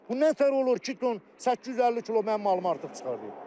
Bu nə təhər olur ki, 850 kilo mənim malım artıq çıxarılır?